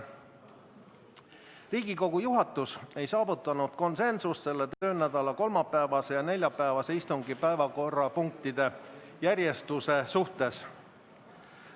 Riigikogu juhatus ei saavutanud konsensust selle töönädala kolmapäevase ja neljapäevase istungi päevakorrapunktide järjestuse suhtes.